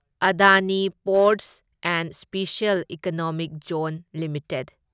Adani ports and special economic zone limited